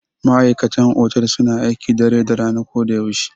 Ma'aikatan otal suna aiki dare da rana ko da yaushe.